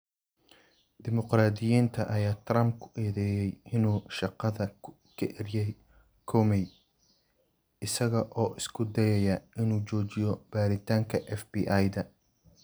Dimuqraadiyiinta ayaa Trump ku eedeeyay in uu shaqada ka eryay Comey isaga oo isku dayaya in uu joojiyo baaritaanka FBI-da.